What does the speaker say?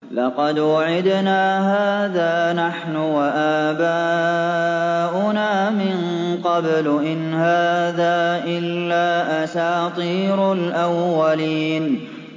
لَقَدْ وُعِدْنَا هَٰذَا نَحْنُ وَآبَاؤُنَا مِن قَبْلُ إِنْ هَٰذَا إِلَّا أَسَاطِيرُ الْأَوَّلِينَ